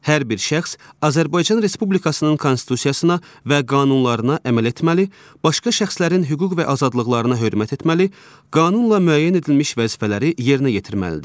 Hər bir şəxs Azərbaycan Respublikasının Konstitusiyasına və qanunlarına əməl etməli, başqa şəxslərin hüquq və azadlıqlarına hörmət etməli, qanunla müəyyən edilmiş vəzifələri yerinə yetirməlidir.